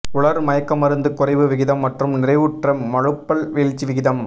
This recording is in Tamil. உலர் மயக்கமருந்து குறைவு விகிதம் மற்றும் நிறைவுற்ற மழுப்பல் வீழ்ச்சி விகிதம்